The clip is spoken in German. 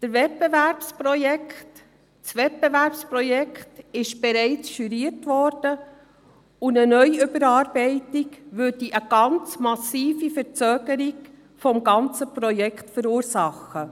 Das Wettbewerbsprojekt wurde bereits studiert, und eine neue Überarbeitung würde eine sehr massive Verzögerung des gesamten Projekts verursachen.